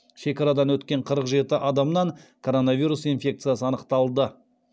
шекарадан өткен қырық жеті адамнан коронавирус инфекциясы анықталды